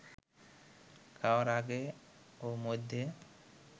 খাওয়ার আগে ও মধ্যে